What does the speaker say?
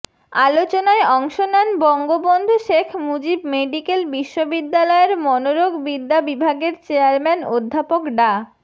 আলোচনায় অংশ নেন বঙ্গবন্ধু শেখ মুজিব মেডিকেল বিশ্ববিদ্যালয়ের মনোরোগবিদ্যা বিভাগের চেয়ারম্যান অধ্যাপক ডা